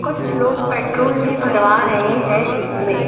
कुछ लोग पेट्रोल भी भरवा रहे हैं इसमें।